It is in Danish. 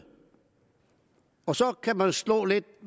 og så kan man slå lidt